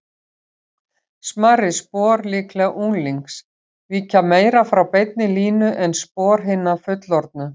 Smærri spor, líklega unglings, víkja meira frá beinni línu en spor hinna fullorðnu.